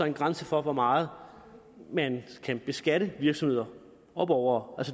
en grænse for hvor meget man kan beskatte virksomheder og borgere